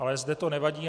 Ale zde to nevadí.